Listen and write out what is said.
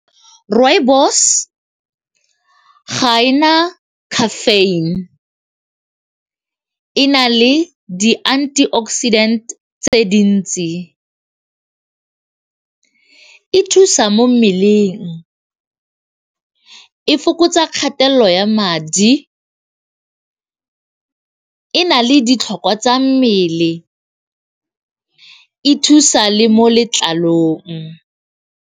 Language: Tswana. Rooibos ga ena caffeine e na le di-antioxidant tse dintsi, e thusa mo mmeleng, e fokotsa kgatelelo ya madi, e na le ditlhokwa tsa mmele, e thusa le mo letlalong.